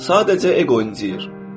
Sadəcə eqo incinir.